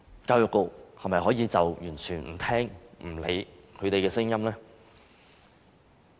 教育局是否可以完全不聽、不理他們的聲音呢？